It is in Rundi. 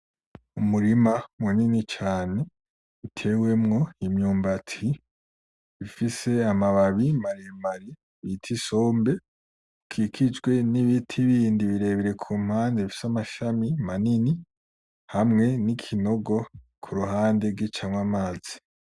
Umurima munini cane utewemwo imyumbati ifise amababi maremare bita isombe ukikijwe n'ibiti bindi birebire kumpande bifise amashami manini hamwe n'ikinogo kuruhande gicamwo amazi.